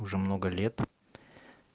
уже много лет